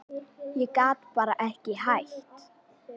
Ég gat bara ekki hætt.